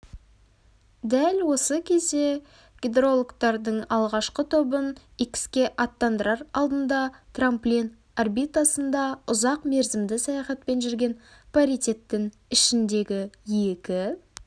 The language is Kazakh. дәл осы кезде гидрологтардың алғашқы тобын икске аттандырар алдында трамплин орбитасында ұзақ мерзімді саяхатпен жүрген паритеттің ішіндегі екі